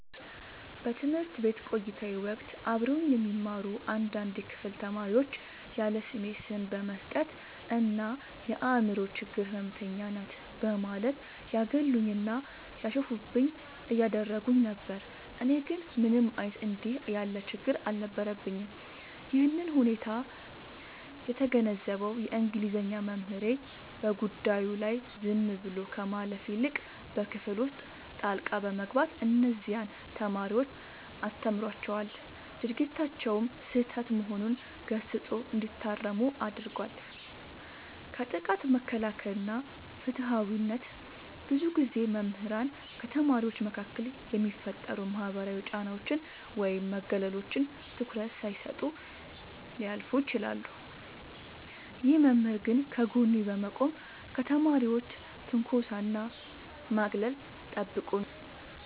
በትምህርት ቤት ቆይታዬ ወቅት አብረውኝ የሚማሩ አንዳንድ የክፍል ተማሪዎች ያለስሜ ስም በመስጠት እና "የአምሮ ችግር ህመምተኛ ናት" በማለት ያገሉኝና ያሾፉብኝ ያደርጉኝ ነበር። እኔ ግን ምንም አይነት እንዲህ ያለ ችግር አልነበረብኝም። ይህንን ሁኔታ የተገነዘበው የእንግሊዘኛ መምህሬ፣ በጉዳዩ ላይ ዝም ብሎ ከማለፍ ይልቅ በክፍል ውስጥ ጣልቃ በመግባት እነዚያን ተማሪዎች አስተምሯቸዋል፤ ድርጊታቸውም ስህተት መሆኑን ገስጾ እንዲታረሙ አድርጓል። ከጥቃት መከላከል እና ፍትሃዊነት፦ ብዙ ጊዜ መምህራን ከተማሪዎች መካከል የሚፈጠሩ ማህበራዊ ጫናዎችን ወይም መገለሎችን ትኩረት ሳይሰጡ ሊያልፉ ይችላሉ። ይህ መምህር ግን ከጎኔ በመቆም ከተማሪዎች ትንኮሳና ማግለል ጠብቆኛል።